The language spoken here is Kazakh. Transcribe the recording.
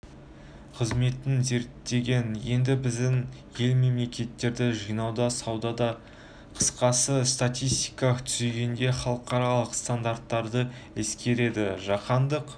қызметін зерттеген еді біздің ел мәліметтерді жинауда санауда қысқасы статистика түзгенде халықаралық стандарттарды ескереді жаһандық